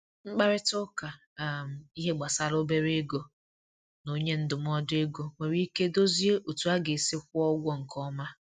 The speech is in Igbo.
Nkparịta ụka um ihe gbasara obere ego na onye ndụmọdụ ego nwere ike dozie otú a ga-esi kwụọ ụgwọ nke ọma.